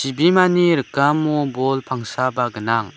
chibimani rikamo bol pangsaba gnang.